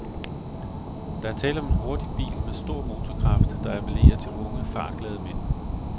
Der er tale om en hurtig bil med stor motorkraft, der apellerer til unge, fartglade mænd.